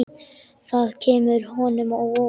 Það kemur honum á óvart.